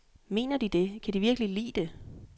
Mener de det, kan de virkelige lide det?